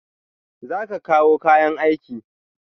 Za ka kawo kayan aiki?